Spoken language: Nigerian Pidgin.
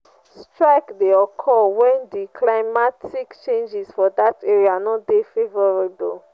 strike de occur when di climatic changes for that area no de favourable